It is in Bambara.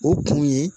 O kun ye